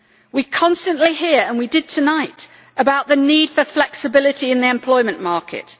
We constantly hear, and we did tonight, about the need for flexibility in the employment market.